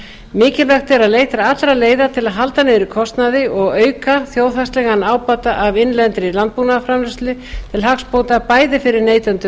mikilvægt er að leita allra leiða til að halda niðri kostnaði og auka þjóðhagslegan ábata af innlendri landbúnaðarframleiðslu til hagsbóta bæði fyrir neytendur